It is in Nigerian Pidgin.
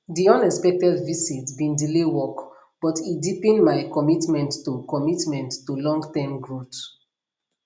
di unexpected visit bin delay work but e deepen my commitment to commitment to longterm growth